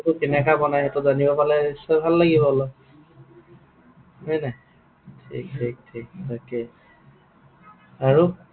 কেনেকুৱা বনায় জানিব পালে নিশ্চয় ভাল লাগিব অলপ।